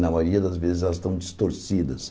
Na maioria das vezes elas estão distorcidas.